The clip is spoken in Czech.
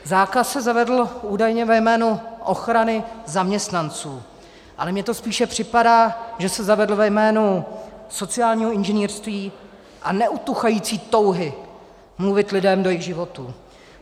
Zákaz se zavedl údajně ve jménu ochrany zaměstnanců, ale mně to spíše připadá, že se zavedl ve jménu sociálního inženýrství a neutuchající touhy mluvit lidem do jejich životů.